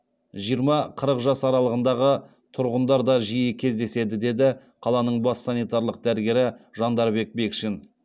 жиырма қырық жас аралығындағы тұрғындар да жиі кездеседі деді қаланың бас санитарлық дәрігері жандарбек бекшин